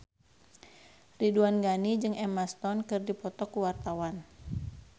Ridwan Ghani jeung Emma Stone keur dipoto ku wartawan